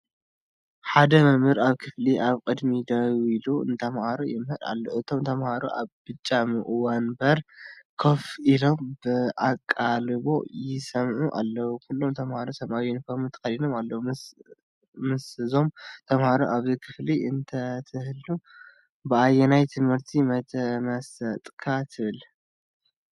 ሓደ መምህር ኣብ ክፍሊ ኣብ ቅድሚት ደው ኢሉ ንተማሃሮ ይምህር ኣሎ። እቶም ተማሃሮ ኣብ ብጫ መንበር ኮፍ ኢሎም ብኣቓልቦ ይሰምዑ ኣለዉ። ኩሎም ተምሃሮ ሰማያዊ ዩኒፎርም ተኸዲኖም ኣለዉ። ምስዞም ተማሃሮ ኣብዚ ክፍሊ እንተትህሉ፡ ብኣየናይ ትምህርቲ ምተመሰጠካ ትብል?